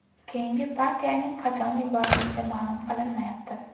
Keyingi partiyaning qachon yuborilishi ma’lum qilinmayapti.